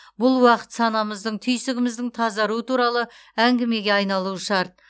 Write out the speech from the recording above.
бұл уақыт санамыздың түйсігіміздің тазаруы туралы әңгімеге айналуы шарт